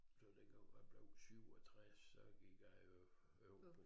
Så dengang hvor jeg blev 67 så gik jeg jo over på